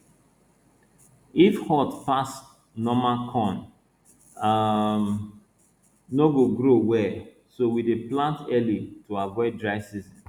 if hot pass normal corn um no go grow well so we dey plant early to avoid dry season